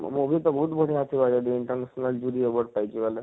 movie ତ ବହୁତ ବଢିଆ ଥିବା ଜଦି ଏନତା ସୁନ୍ଦର ଜୁଡ଼ି award ପାଇଛେ ବଏଲେ ,